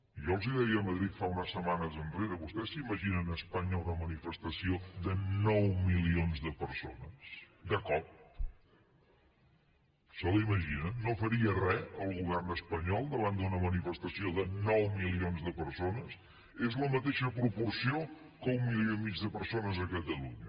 jo els deia a madrid unes setmanes enrere vostès s’imaginen a espanya una manifestació de nou milions de persones de cop se la imaginen no faria res el govern espanyol davant d’una manifestació de nou milions de persones és la mateixa proporció que un milió i mig de persones a catalunya